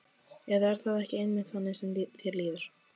Eða er það ekki einmitt þannig sem þér líður?